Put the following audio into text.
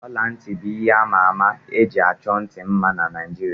Ọla ntị bụ ihe àmà ama eji achọ ntị mma na Naijiria